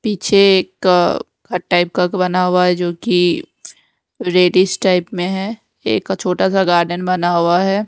पीछे एक बना हुआ है जो कि रेडीश टाइप में है एक छोटा सा गार्डन बना हुआ है।